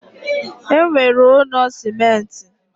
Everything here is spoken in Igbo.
E nwere ụnọ simenti